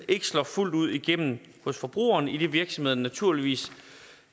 ikke slår fuldt ud igennem hos forbrugerne idet virksomhederne naturligvis